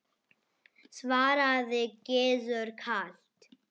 svaraði Gizur kalt.